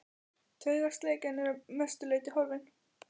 Taugaslekjan er að mestu leyti horfin.